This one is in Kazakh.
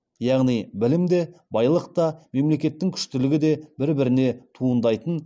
яғни білім де байлық та мемлекеттің күштілігі де бір біріне туындайтын